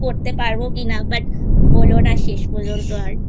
করতে পারবো কিনা But হলো না শেষ পর্যন্ত আর